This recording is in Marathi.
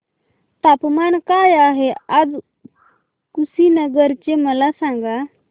तापमान काय आहे आज कुशीनगर चे मला सांगा